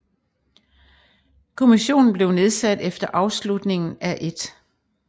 Kommissionen blev nedsat efter afslutningen af 1